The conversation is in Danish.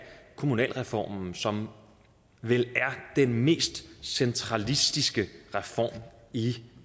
kommunalreformen som vel er den mest centralistiske reform i